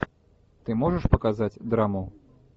ты можешь показать драму